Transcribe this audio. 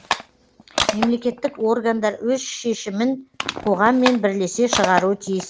мемлекеттік органдар өз шешімін қоғаммен бірлесе шығаруы тиіс